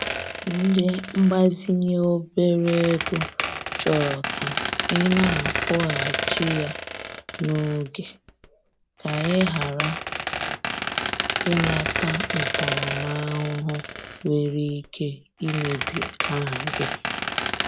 Ndị mgbazinye obere ego chọrọ ka ị na-akwụghachi ya n'oge, ka ị ghara ị nata ntaramahụhụ nwere ike imebi aha gị